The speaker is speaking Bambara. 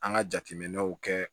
An ka jateminɛw kɛ